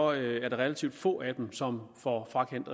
relativt få af dem som får frakendt